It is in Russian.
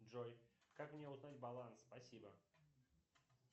джой как мне узнать баланс спасибо